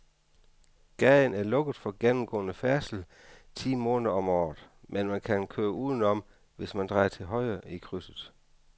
Gaden er lukket for gennemgående færdsel ti måneder om året, men man kan køre udenom, hvis man drejer til højre i krydset.